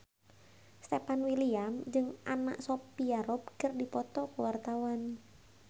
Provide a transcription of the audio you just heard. Stefan William jeung Anna Sophia Robb keur dipoto ku wartawan